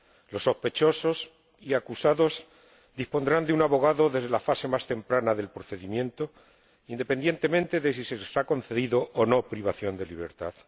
Los sospechosos y acusados dispondrán de un abogado desde la fase más temprana del procedimiento, independientemente de si se les ha impuesto o no la privación de libertad